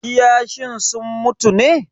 Kiyashin sun mutu ne?